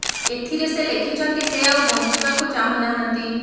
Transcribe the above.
ଏଥିରେ ସେ ଲେଖିଛନ୍ତି ସେ ଆଉ ବଞ୍ଚିବାକୁ ଚାହୁଁ ନାହାନ୍ତି